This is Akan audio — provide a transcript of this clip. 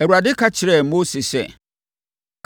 Awurade ka kyerɛɛ Mose sɛ,